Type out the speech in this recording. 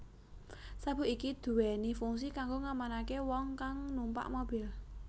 Sabuk iki duwéni fungsi kanggo ngamanaké wong kang numpak mobil